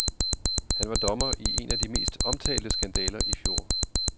Han var dommer i en af de mest omtalte skandaler i fjor.